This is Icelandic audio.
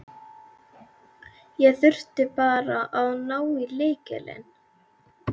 Ég þurfti bara að ná í lykilinn.